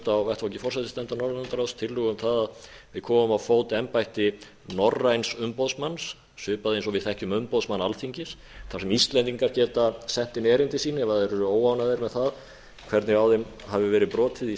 á vettvangi forsætisnefndar norðurlandaráðs tillögu um það að við komum á fót embætti norræns umboðsmanns svipað eins og við þekkjum umboðsmann alþingis þar sem íslendingar geta sent inn erindi sín ef þeir eru óánægðir með það hvernig á þeim hafi verið brotið í